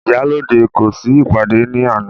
Ìyálóde kò sí ìpàdé ní àná..